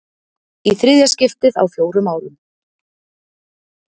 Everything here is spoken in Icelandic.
Í þriðja skiptið á fjórum árum.